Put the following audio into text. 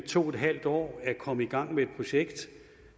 to en halv år at komme i gang med et projekt